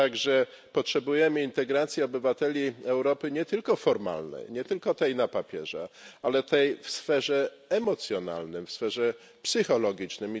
Wszakże potrzebujemy integracji obywateli Europy nie tylko formalnej, nie tylko tej na papierze, ale tej w sferze emocjonalnej, w sferze psychologicznej.